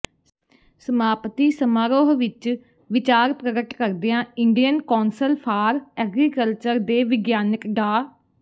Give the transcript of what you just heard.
ਸਮਾਪਤੀ ਸਮਾਰੋਹ ਵਿੱਚ ਵਿਚਾਰ ਪ੍ਰਗਟ ਕਰਦਿਆਂ ਇੰਡੀਅਨ ਕੌਂਸਲ ਫ਼ਾਰ ਐਗਰੀਕਲਚਰ ਦੇ ਵਿਗਿਆਨਕ ਡਾ